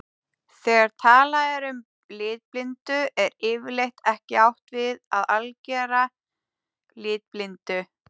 Þegar talað er um litblindu er yfirleitt ekki átt við að algera litblindu.